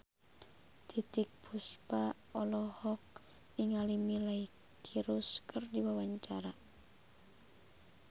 Titiek Puspa olohok ningali Miley Cyrus keur diwawancara